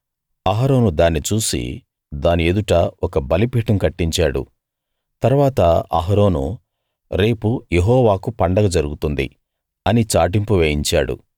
అహరోను దాన్ని చూసి దాని ఎదుట ఒక బలిపీఠం కట్టించాడు తరువాత అహరోను రేపు యెహోవాకు పండగ జరుగుతుంది అని చాటింపు వేయించాడు